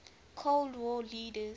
cold war leaders